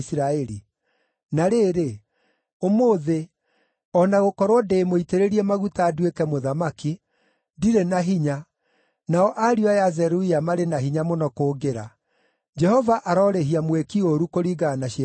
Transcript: Na rĩrĩ, ũmũthĩ, o na gũkorwo ndĩmũitĩrĩrie maguta nduĩke mũthamaki, ndirĩ na hinya, nao ariũ aya a Zeruia marĩ na hinya mũno kũngĩra. Jehova arorĩhia mwĩki ũũru kũringana na ciĩko ciake njũru!”